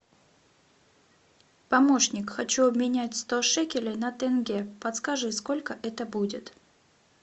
помощник хочу обменять сто шекелей на тенге подскажи сколько это будет